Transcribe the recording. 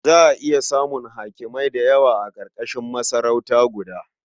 Za a iya samun hakimai da yawa a ƙarƙashin masarauta guda.